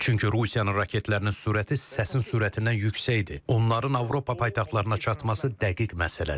Çünki Rusiyanın raketlərinin sürəti səsin sürətindən yüksəkdir, onların Avropa paytaxtlarına çatması dəqiq məsələdir.